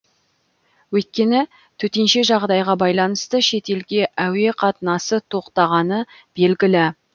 өйткені төтенше жағдайға байланысты шетелге әуе қатынасы тоқтағаны белгілі